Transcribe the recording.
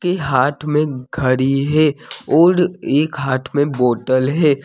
के हाथ में घड़ी है और एक हाथ में बोतल है।